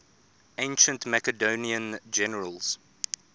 ancient macedonian generals